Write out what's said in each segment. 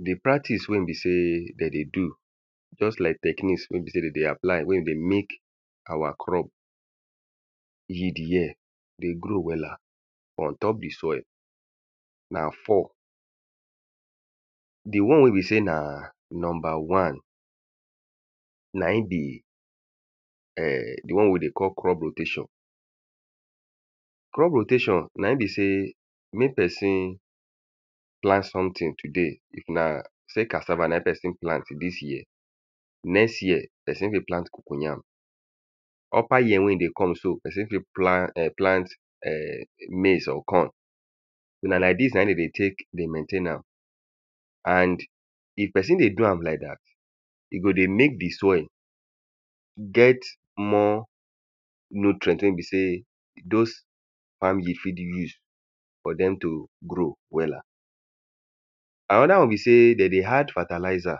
The practice wey be sey if dem dey do just like techniques wey be sey dem dey apply wey e dey make our crop yield here dey grow wella on top the soil na four. The one wey be sey na number one na im be um the one wey they call crop rotation. Crop rotation na im be sey make person plant something today now sey cassava na im person plant dis year next year person fit plant cocoyam. Upper year wey e dey come so, person fit plant erm plant um maize or corn. Na like dis na im de dey take maintain am. And if person dey do am like dat e go dey make the soil get more nutrient wey be sey dos farm the fit the use for dem to grow wella. Another one be sey de dey add fertalizer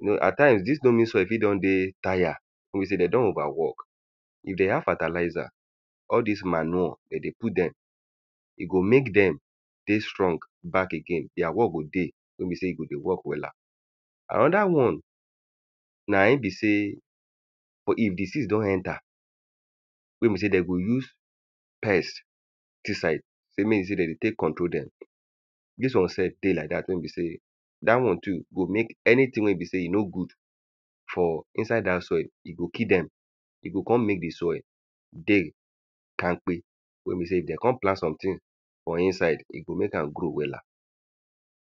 you know at times dis loamy soil fit don dey tire wey be sey dem don over work. You dey add fertalizer all dis manure de dey put dem. E go make dem dey strong back again. Dere work go dey wey be sey e go dey work wella. Another one na im be sey for if the seed don enter wey be sey dem go use pesticide sey make you take de dey take control dem. Dis one sey dey like dat wey be sey dat one too go make anything wey be sey e no good for inside dat soil, e go kill dem. E go con make the soil dey kamkpe. Wey be sey if de con plant something for inside, e go make am grow wella.